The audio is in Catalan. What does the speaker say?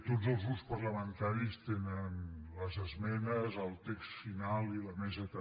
tots els grups parlamentaris tenen les esmenes el text final i la mesa també